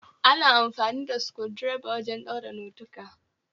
Ana amfani da sukundireba wajen ɗaura notika